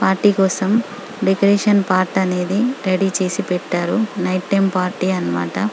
కోసం decoration part అనేది ready చేసి పెట్టారు నైట్ టైం పార్టీ అన్నమాట--